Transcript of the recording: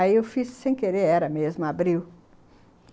Aí eu fiz, sem querer, era mesmo, abriu.